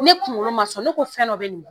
Ne kunkolo man sɔn ne ko fɛn dɔ bɛ nin